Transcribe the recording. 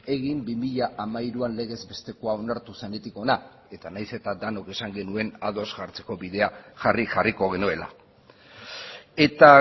egin bi mila hamairuan legez bestekoa onartu zenetik hona eta nahiz eta denok esan genuen ados jartzeko bidea jarri jarriko genuela eta